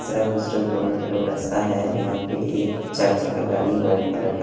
सिर्फ और सिर्फ दोनों तरफ रास्ता है यहां पे एक चार चका गाड़ी वाइट कलर का--